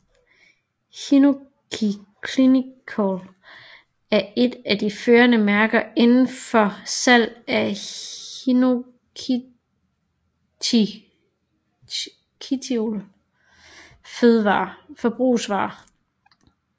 Hinoki Clinical er et at de førende mærker indenfor salg af hinokitiol forbrugsvarer